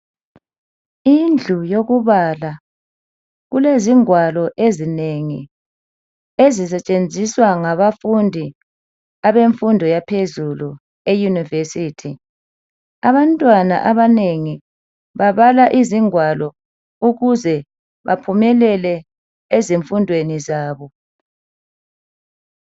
Indlu yokubala kulezingwalo ezinengi ezisetshenziswa ngabafundi abemfundo yaphezulu eyunivesithi. Abantwana abanengi babala izingwalo ukuze baphumelele ezifundweni zabo.